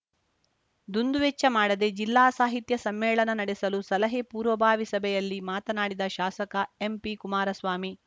ದುಂದುವೆಚ್ಚ ಮಾಡದೆ ಜಿಲ್ಲಾ ಸಾಹಿತ್ಯ ಸಮ್ಮೇಳನ ನಡೆಸಲು ಸಲಹೆ ಪೂರ್ವಭಾವಿ ಸಭೆಯಲ್ಲಿ ಮಾತನಾಡಿದ ಶಾಸಕ ಎಂಪಿ ಕುಮಾರಸ್ವಾಮಿ